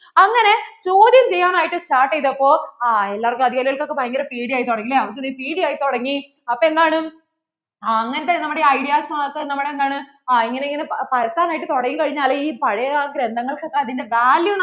ചോദ്യം ചെയ്യാൻ ആയിട്ട് start ചെയ്തപ്പോൾ ആ എല്ലാർക്കും, അധികാരികൾക് ഓക്കേ ഭയങ്കര പേടി ആയി തുടങ്ങി അല്ലെ അവര്‍ക്ക് പേടി ആയി തുടങ്ങി അപ്പോൾ എന്താണ് അങ്ങനത്തെ നമ്മടെ ideas മാത്രം നമ്മടെ എന്താണ് ഇങ്ങനെ ഇങ്ങനെ പരത്താൻ ആയിട്ട് ഒക്കെ തുടങ്ങി കഴിഞ്ഞാൽ ഈ പഴയ ആ ഗ്രന്ഥങ്ങള്‍ക്കൊക്കെ അതിൻ്റെ value